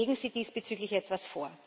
Legen Sie diesbezüglich etwas vor!